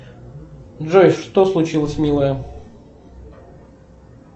джой что случилось милая